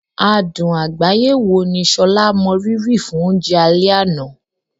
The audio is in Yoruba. Adùn àgbáyé wo ni Sola mọ rírì fún oúnjẹ alẹ́ àná?